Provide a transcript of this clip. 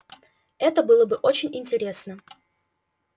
это было бы очень интересно